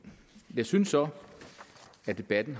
jeg synes så at debatten